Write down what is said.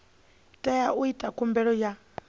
tea u ita khumbelo ya